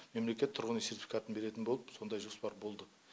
мемлекет тұрғын үй сертификатын беретін болып сондай жоспар болды